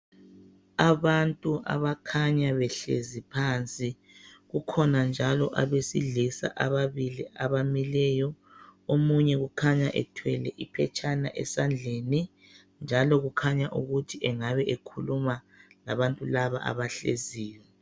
Abantu abakhanya behlezi phansi kukhona njalo abesilisa ababili abamileyo omunye ukhanya ethwele iphetshana esandleni njalo kukhanya ukuthi engabe ekhuluma labantu laba abahleziyo.